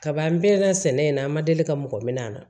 Kaban pere la sɛnɛ in na an ma deli ka mɔgɔ minɛ an na